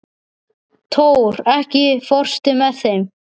Tór, ekki fórstu með þeim?